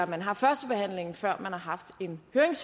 man har førstebehandlingen før man har haft en